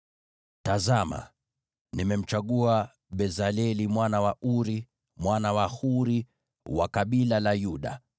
“Tazama, nimemchagua Bezaleli mwana wa Uri, mwana wa Huri, wa kabila la Yuda,